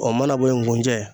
Ɔ mana bo ye ngunjɛ